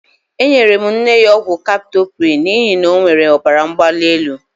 Enyere m nne ya ọgwụ kaptoprịl n'ihi na ọ nwere ọbaramgbalielu.